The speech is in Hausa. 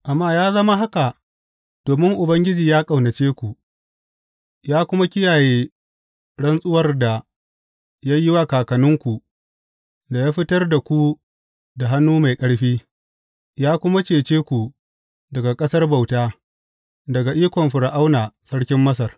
Amma ya zama haka domin Ubangiji ya ƙaunace ku, ya kuma kiyaye rantsuwar da ya yi wa kakanninku da ya fitar da ku da hannu mai ƙarfi, ya kuma cece ku daga ƙasar bauta, daga ikon Fir’auna sarkin Masar.